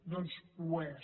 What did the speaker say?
doncs ho és